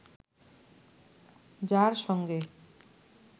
যার সঙ্গে